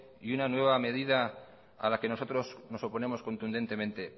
y una nueva medida a la que nosotros nos oponemos contundentemente